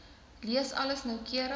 lees alles noukeurig